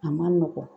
A man nɔgɔn